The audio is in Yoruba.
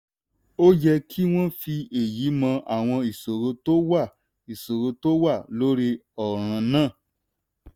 ó yẹ kí wọ́n fi èyí mọ àwọn ìṣòro tó wà ìṣòro tó wà lórí ọ̀ràn náà.